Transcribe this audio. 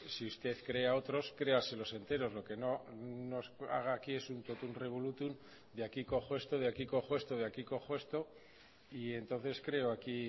si usted cree a otros créaselos enteros lo que no nos haga aquí es un totum revolutum de aquí cojo esto de aquí cojo esto de aquí cojo esto y entonces creo aquí